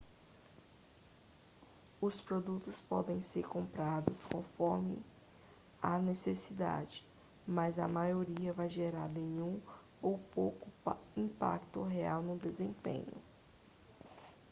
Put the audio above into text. os produtos podem ser comprados conforme a necessidade mas a maioria vai gerar nenhum ou pouco impacto real no desempenho